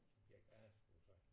Subjekt A skulle du have sagt